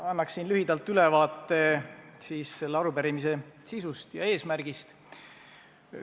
Ma annan lühidalt ülevaate selle arupärimise sisust ja eesmärgist.